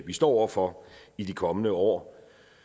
vi står over for i de kommende år